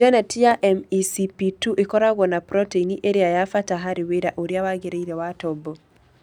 Geneti ya MECP2 ĩkoragwo na proteini ĩrĩa ya bata harĩ wĩra ũrĩa wagĩrĩire wa tombo.